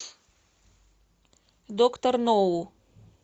доктор ноу